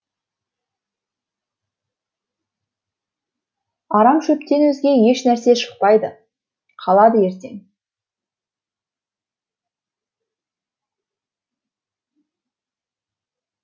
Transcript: арам шөптен өзге ешнәрсе шықпайды қалады ертең